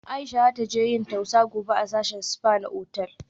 Aisha za taje yin tausa gobe a sashin spa na otal